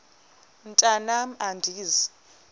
mntwan am andizi